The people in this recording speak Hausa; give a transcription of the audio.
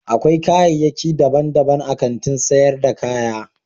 Akwai kayaki dabban dabban a Kantin sayar da kaya